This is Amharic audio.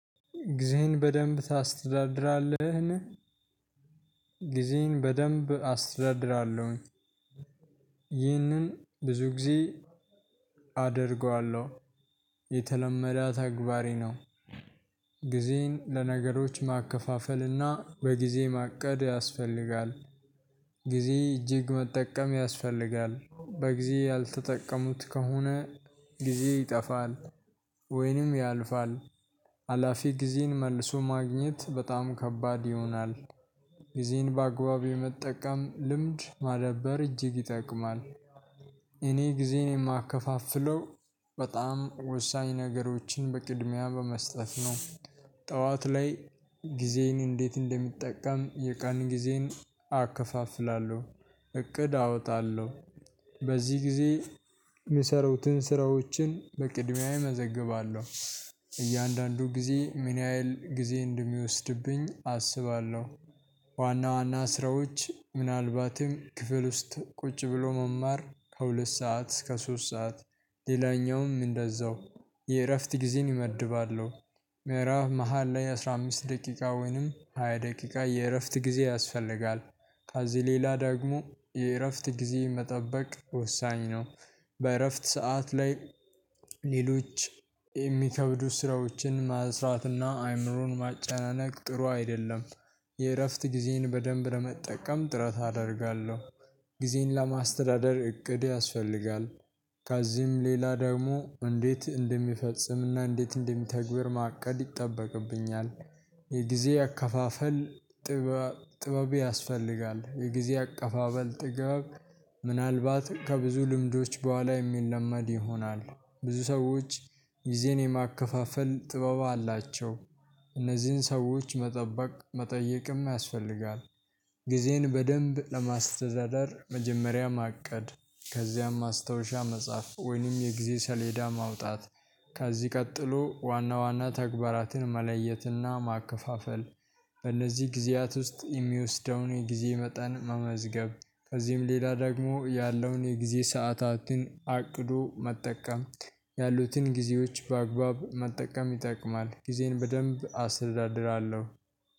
ጊዜህን በደንብ ታስተዳድራለህን? ጊዜየን በደንብ አስተዳድራለሁኝ። ይህንን ብዙ ጊዜ አደርገዋለሁ የተለመደ ተግባሬ ነው። ጊዜን ለነገሮች ማከፋፈልና በጊዜ ማቀድ ያስፈልጋል። ጊዜ እጅግ መጠቀም ያስፈልጋል በጊዜ ያልተጠቀሙት ከሆነ ጊዜ ይጠፋል ወይንም ያልፋል። ሀላፊ ጊዜን መልሶ ማግኘት በጣም ከባድ ይሆናል። ጊዜየን በአግባቡ የመጠቀም ልምድ ማዳበር እጅግ ይጠቅማል። እኔ ጊዜየን የማከፋፍለው በጣም ወሳኝ ነገሮችን በቅድሚያ በመስጠት ነው። ጠዋት ላይ ጊዜየን እንዴት እንደምጠቀም የቀን ጊዜን አከፋፍላለሁ። እቅድ አወጣለሁ በዚህ ጊዜ የሚሰሩትን ስራዎችን በቅድሚያ እመዘግባለሁ። እያንዳንዱ ጊዜ ምን ያህል ጊዜ እንደሚወስድብኝ አስባለሁ። ዋና ዋና ስራዎች ምናልባትም ክፍል ውስጥ ቁጭ ብሎ መማር ከሁለት ሰዓት እስከ ሶስት ሰዓት ሌላኛውም እንደዛው የእረፍት ጊዜየን እመድባለሁ። መሃል ላይ አስራ አምስት ደቂቃ ወይንም ሃያ ደቂቃ የእረፍት ጊዜ ያስፈልጋል። ከዚህ ሌላ ደግሞ የእረፍት ጊዜ መጠበቅ ወሳኝ ነው። በእረፍት ሰዓት ላይ ሌሎች የሚከብዱ ስራዎችን መስራትና አይምሮን ማጨናነቅ ጥሩ አይደለም። የእረፍት ጊዜየን በደንብ ለመጠቀም ጥረት አደርጋለሁ። ጊዜን ለማስተዳደር እቅድ ያስፈልጋል። ከዚህም ሌላ ደግሞ እንዴት እንደሚፈጽም እና እንዴት እንደሚተገበር ማቀድ ይጠበቅብኛል። የጊዜ አካፋፈል ጥበብ ያስፈልጋል የጊዜ አከፋፈል ጥበብ ምናልባት ከብዙ ልምዶች በኋላ የሚለመድ ይሆናል። ብዙ ሰዎች ጊዜን የማከፋፈል ጥበብ አላቸው እነዚህን ሰዎች መጠበቅ መጠየቅም ያስፈልጋል። ጊዜን በደንብ ለማስተዳደር መጀመሪያ ማቀድ ከዚያም ማስታውሻ መጻፍ ወይንም የጊዜ ሰሌዳ ማውጣት። ከዚህ ቀጥሎ ዋና ዋና ተግባራትን መለየትና ማከፋፈል። በእነዚህ ጊዜያት ውስጥ የሚወስደውን የጊዜ መጠን መመዝገብ ከዚህም ሌላ ደግሞ ያለውን የጊዜ ሰዓታትን አቅዶ መጠቀም። ያሉትን ጊዜዎች በአግባብ መጠቀም ይጠቅማል ጊዜን በደንብ አስተዳድራለሁ።